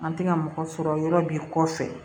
An tɛ ka mɔgɔ sɔrɔ yɔrɔ b'i kɔfɛ